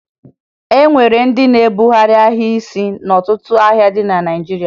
E nwere ndị na-ebugharị ahịa n'isi n'ọtụtụ ahịa dị na Naịjirịa